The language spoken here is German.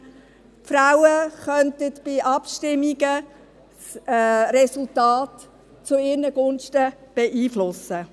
Die Frauen könnten bei Abstimmungen die Resultate zu ihren Gunsten beeinflussen.